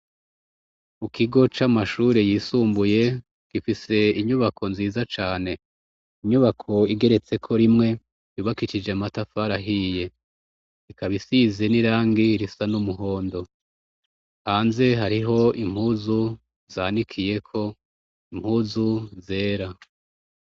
Mukigo c'amashuri yisumbuye gifise inyubako nziza cane, inyubako igeretse ko rimwe ribakicije matafara ahiye ikaba isize n'irangi risa n'umuhondo, hanze hariho impuzu zanikiye ko impuzu zera.